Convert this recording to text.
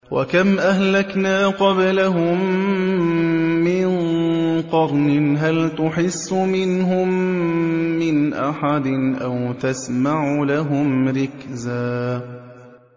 وَكَمْ أَهْلَكْنَا قَبْلَهُم مِّن قَرْنٍ هَلْ تُحِسُّ مِنْهُم مِّنْ أَحَدٍ أَوْ تَسْمَعُ لَهُمْ رِكْزًا